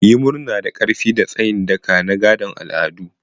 Yi murna da ƙarfi da tsayin daka na gadon al'adu.